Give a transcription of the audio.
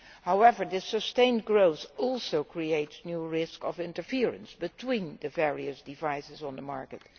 However, the sustained growth also creates a new risk of interference between the various devices on the market.